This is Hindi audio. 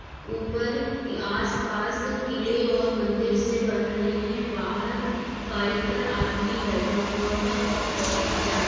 ऊपर आसपास किले और मंदिर से बन रहे हैं। बाहर बाइक पर आदमी बैठा हुआ है और औरत जा रही --